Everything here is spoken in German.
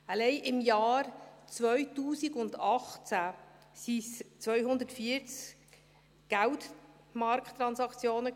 Alleine im Jahr 2018 waren es 240 Geldmarkttransaktionen.